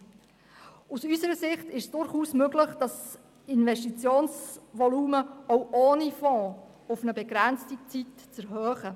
Zudem ist es aus unserer Sicht durchaus möglich, das Investitionsvolumen auch ohne Fonds für eine begrenzte Zeit zu erhöhen.